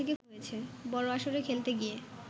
বড় আসরে খেলতে গিয়ে